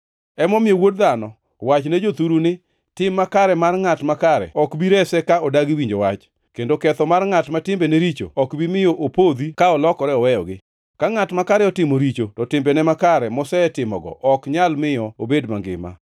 “Emomiyo, wuod dhano, wachne jothuru ni, ‘Tim makare mar ngʼat makare ok bi rese ka odagi winjo wach, kendo ketho mar ngʼat ma timbene richo ok bi miyo opodhi ka olokore oweyogi. Ka ngʼat makare otimo richo to timbene makare mosetimogo ok nyal miyo obed mangima.’